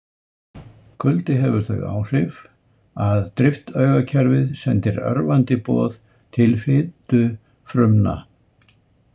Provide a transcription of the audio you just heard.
Kuldi hefur þau áhrif að driftaugakerfið sendir örvandi boð til fitufrumna.